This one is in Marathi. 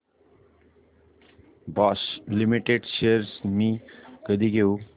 बॉश लिमिटेड शेअर्स मी कधी घेऊ